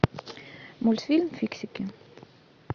мультфильм фиксики